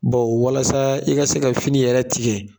Baw walasa i ka se ka fini yɛrɛ tigɛ